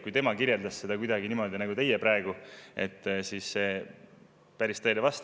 Kui tema kirjeldas seda kuidagi niimoodi nagu teie praegu, siis see päris tõele ei vasta.